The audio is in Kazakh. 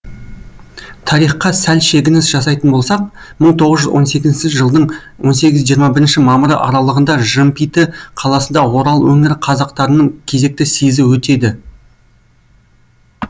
тарихқа сәл шегініс жасайтын болсақ мың тоғыз жүз он сегізінші жылдың он сегіз жиырма бірінші мамыры аралығында жымпиты қаласында орал өңірі қазақтарының кезекті съезі өтеді